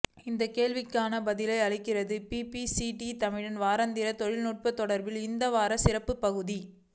அந்த கேள்விக்கான பதிலை அளிக்கிறது பிபிசி தமிழின் வாராந்திர தொழில்நுட்ப தொடரின் இந்த வார சிறப்பு பகுதி